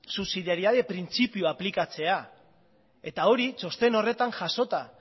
subsidiaridade printzipio aplikatzea eta hori txosten horretan jasota